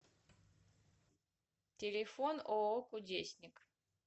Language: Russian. телефон ооо кудесник